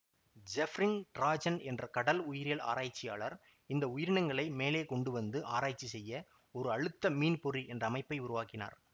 ஜெஃப்ரிங் Drazen என்ற கடல் உயிரியல் ஆராய்ச்சியாளர் இந்த உயிரினங்களை மேலே கொண்டு வந்து ஆராய்ச்சி செய்ய ஒரு அழுத்த மீன் பொறி என்ற அமைப்பை உருவாக்கினார்